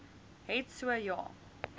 het so ja